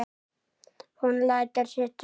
Hún lætur sig dreyma.